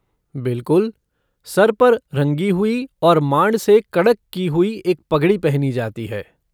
बिलकुल! सर पर रंगी हुई और मांड से कड़क कि हुई एक पगड़ी पहनी जाती है।